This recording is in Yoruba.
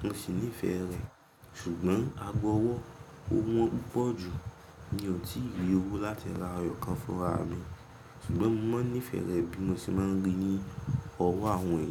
Mo sì nífẹ̀ẹ́ rẹ̀, ṣùgbọ́n ago ọwọ́ ó wọ́n púpọ̀ jù, n ó ti lè owó láti ra ọyàn kan fúnra mi. Ṣùgbọ́n mo máa ń nífẹ̀ẹ́ rẹ̀ bí mo ṣe máa ń rí ní ọwọ́ àwọn ènìyàn.